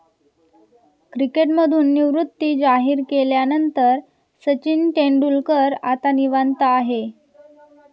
क्रिकेटमधून निवृत्ती जाहीर केल्यानंतर सचिन तेंडुलकर आता निवांत आहे.